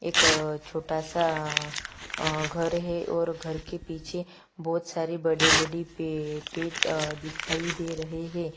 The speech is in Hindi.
एक अअ छोटा सा अ अ घर है और घर के पीछे बहुत सारी बड़ी बड़ी पेए पेट पेड़ दिखाई दे रहे है।